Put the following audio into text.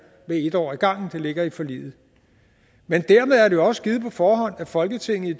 med en år ad gangen fordi det ligger i forliget men dermed er det jo også givet på forhånd at folketinget i